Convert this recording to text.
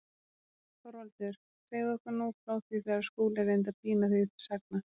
ÞORVALDUR: Segðu okkur nú frá því þegar Skúli reyndi að pína þig til sagna.